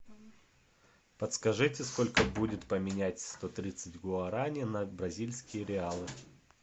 подскажите сколько будет поменять сто тридцать гуарани на бразильские реалы